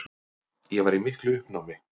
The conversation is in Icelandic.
Ég var í miklu uppnámi.